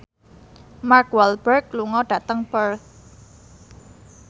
Mark Walberg lunga dhateng Perth